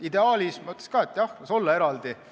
Ideaalis, ma ütleks ka, et jah, las olla eraldi.